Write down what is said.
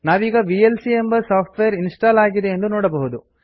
ನಾವೀಗ ವಿಎಲ್ಸಿ ಎಂಬ software install ಆಗಿದೆ ಎಂದು ನೋಡಬಹುದು